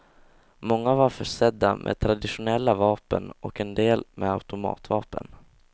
Många var försedda med traditionella vapen och en del med automatvapen.